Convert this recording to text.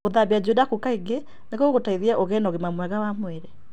Gũthambia njuĩrĩ yaku kaingĩ nĩ gũgũgũteithia ũgĩe na ũgima mwega wa mwĩrĩ.